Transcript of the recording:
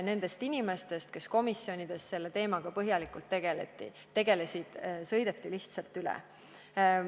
Nendest inimestest, kes komisjonides selle teemaga põhjalikult tegelesid, sõideti lihtsalt üle.